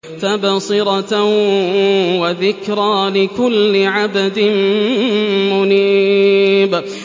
تَبْصِرَةً وَذِكْرَىٰ لِكُلِّ عَبْدٍ مُّنِيبٍ